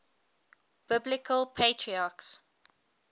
biblical patriarchs